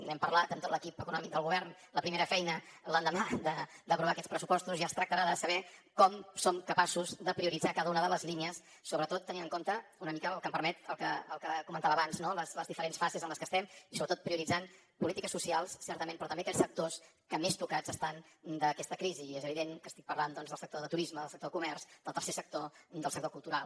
n’hem parlat amb tot l’equip econòmic del govern la primera feina l’endemà d’aprovar aquests pressupostos ja es tractarà de saber com som capaços de prioritzar cada una de les línies sobretot tenint en compte una mica si em permet el que comentava abans no les diferents fases en les que estem i sobretot prioritzant polítiques socials certament però també aquells sectors que més tocats estan per aquesta crisi i és evident que estic parlant doncs del sector de turisme del sector comerç del tercer sector del sector cultural